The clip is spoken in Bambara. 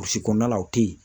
Burusi kɔnɔna la o tɛ yen